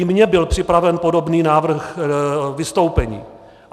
I mně byl připraven podobný návrh vystoupení.